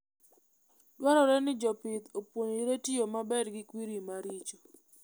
Dwarore ni jopith opuonjre tiyo maber gi kwiri maricho.